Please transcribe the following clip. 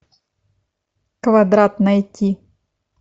квадрат найти